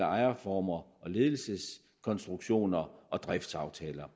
ejerformer og ledelseskonstruktioner og driftsaftaler